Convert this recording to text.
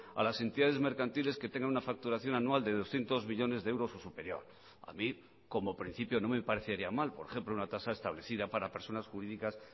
a las entidades mercantiles que tengan una facturación anual de doscientos millónes de euros o superior a mí como principio no me parecería mal por ejemplo una tasa establecida para personas jurídicas